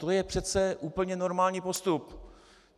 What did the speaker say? To je přece úplně normální postup.